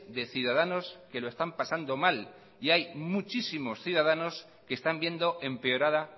de ciudadanos que lo están pasando mal y hay muchísimos ciudadanos que están viendo empeorada